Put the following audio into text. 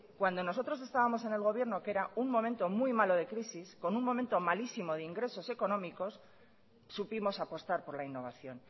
cuando nosotros estábamos en el gobierno que era un momento muy malo de crisis con un momento malísimo de ingresos económicos supimos apostar por la innovación